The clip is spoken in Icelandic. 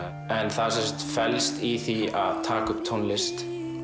en það sem sagt felst í því að taka upp tónlist